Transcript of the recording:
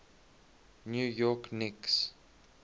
new york knicks